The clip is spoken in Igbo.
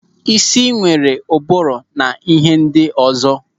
Ísì nwere ụbụrụ na ịhe ndị ọzọ.